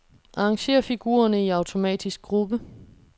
Arrangér figurerne i automatisk gruppe.